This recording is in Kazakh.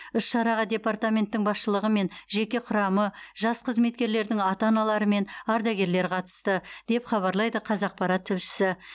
іс шараға департаменттің басшылығы мен жеке құрамы жас қызметкерлердің ата аналары мен ардагерлер қатысты деп хабарлайды қазақпарат тілшісі